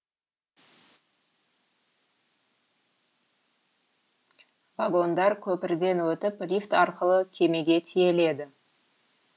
вагондар көпірден өтіп лифт арқылы кемеге тиеледі